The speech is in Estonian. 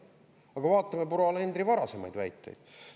Aga vaatame proua Alenderi varasemaid väiteid.